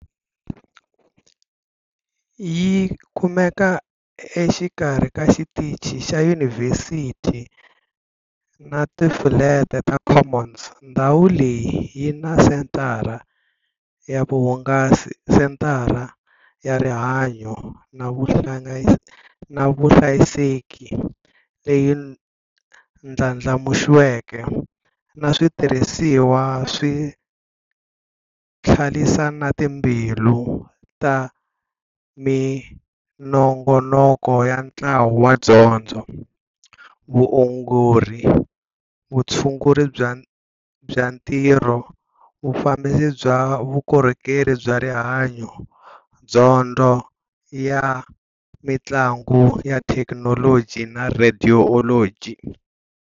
Yi kumeka exikarhi ka Xitichi xa Yunivhesiti na Tifulete ta Commons, ndhawu leyi yi na senthara ya vuhungasi, senthara ya rihanyo na vuhlayiseki leyi ndlandlamuxiweke, na switirhisiwa swa tlilasi na timbilu ta minongonoko ya ntlawa ya dyondzo-Vuongori, Vutshunguri bya Ntirho, Vufambisi bya Vukorhokeri bya Rihanyo, Dyondzo ya Mintlangu na Thekinoloji na Radiology.